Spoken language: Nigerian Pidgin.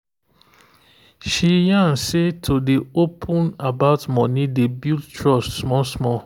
she yan say to dey open about money dey build trust small small.